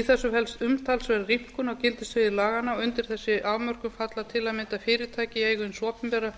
í þessu felst umtalsverð rýmkun á gildissviði laganna og undir þessi afmörkun falla til að mynda fyrirtæki í eigu hins opinbera